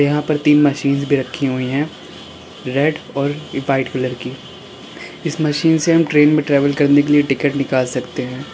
यहां पर तीन मशीन भी रखी हुई हैं रेड और व्हाइट कलर की इस मशीन से हम ट्रेन में ट्रैवल करने के लिए हम टिकट निकाल सकते है।